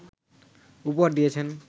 উপহার দিয়েছেন